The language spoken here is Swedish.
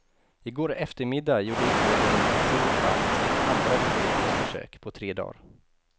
I går eftermiddag gjorde ubåten i så fall sitt andra utbrytningsförsök på tre dagar.